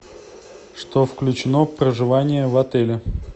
что включено в проживание в отеле